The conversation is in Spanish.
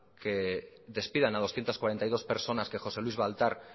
que despidan a doscientos cuarenta y dos personas que josé luis baltar